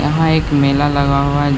यहाँ एक मेला लगा हुआ है।